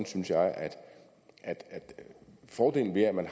synes jo at fordelen ved at man